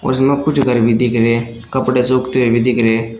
और इसमे कुछ घर भी दिख रहे कपड़े सूखते हुए भी दिख रहे --